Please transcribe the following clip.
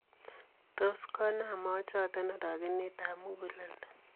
Tos koomaan moochoton orogeneten ab muguleldo.